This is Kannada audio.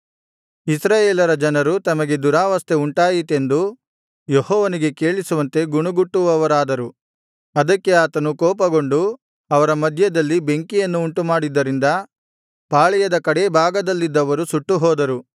ಇಸ್ರಾಯೇಲ ಜನರು ತಮಗೆ ದುರಾವಸ್ಥೆ ಉಂಟಾಯಿತೆಂದು ಯೆಹೋವನಿಗೆ ಕೇಳಿಸುವಂತೆ ಗುಣುಗುಟ್ಟುವವರಾದರು ಅದಕ್ಕೆ ಆತನು ಕೋಪಗೊಂಡು ಅವರ ಮಧ್ಯದಲ್ಲಿ ಬೆಂಕಿಯನ್ನು ಉಂಟುಮಾಡಿದ್ದರಿಂದ ಪಾಳೆಯದ ಕಡೇ ಭಾಗದಲ್ಲಿದ್ದವರು ಸುಟ್ಟುಹೋದರು